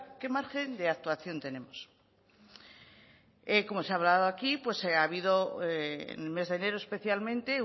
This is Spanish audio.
qué margen de actuación tenemos como se ha hablado aquí ha habido en el mes de enero especialmente